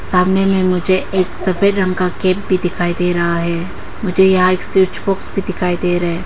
सामने में मुझे एक सफेद रंग का कैप भी दिखाई दे रहा है मुझे यहां एक स्विच बॉक्स भी दिखाई दे रहा है।